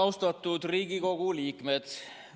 Austatud Riigikogu liikmed!